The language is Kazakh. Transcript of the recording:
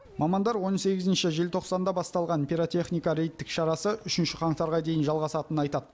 мамандар он сегізінші желтоқсанда басталған пиротехника рейдттік шарасы үшінші қаңтарға дейін жалғасатынын айтады